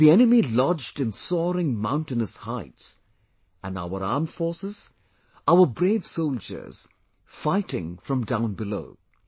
the enemy lodged in soaring mountainous heights and our armed forces, our brave soldiers fighting from down below